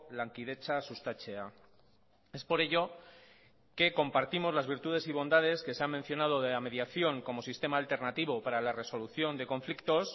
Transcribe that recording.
lankidetza sustatzea es por ello que compartimos las virtudes y bondades que se han mencionado de la mediación como sistema alternativo para la resolución de conflictos